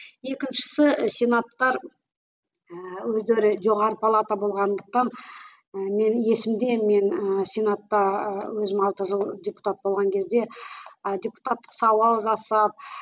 екіншісі сенаттар ііі өздері жоғары палата болғандықтан ы мен есімде мен ы сенатта өзім алты жыл депутат болған кезде ы депутаттық сауал жасап